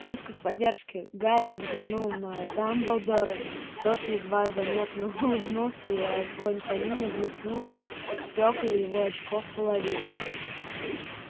в поисках поддержки гарри взглянул на дамблдора тот едва заметно улыбнулся и огонь камина блеснул в стёкла его очков-половинок